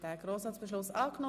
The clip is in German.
Schlussabstimmung